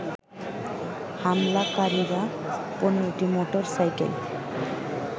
হামলাকারীরা ১৫টি motor cycle